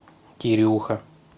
кирюха